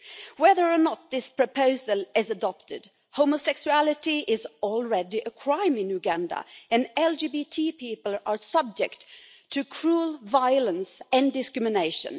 Whether or not this proposal is adopted, homosexuality is already a crime in Uganda and LGBT people are subject to cruel violence and discrimination.